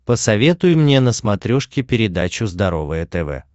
посоветуй мне на смотрешке передачу здоровое тв